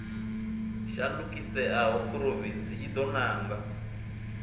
shandukiseaho phurovintsi i do nanga